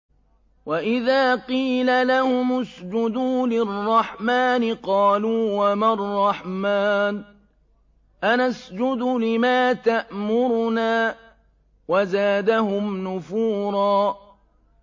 وَإِذَا قِيلَ لَهُمُ اسْجُدُوا لِلرَّحْمَٰنِ قَالُوا وَمَا الرَّحْمَٰنُ أَنَسْجُدُ لِمَا تَأْمُرُنَا وَزَادَهُمْ نُفُورًا ۩